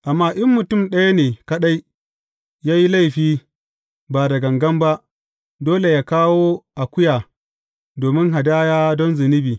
Amma in mutum ɗaya ne kaɗai ya yi laifi ba da gangan ba, dole yă kawo akuya domin hadaya don zunubi.